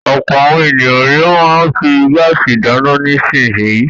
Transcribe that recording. Ọ̀pọ̀ àwọn ènìyàn ni wọ́n ń fi gáásì dáná nísìnyí.